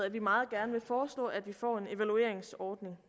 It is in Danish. at vi meget gerne vil foreslå at vi får en evalueringsordning